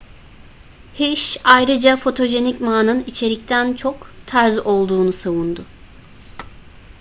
hsieh ayrıca fotojenik ma'nın içerikten çok tarz olduğunu savundu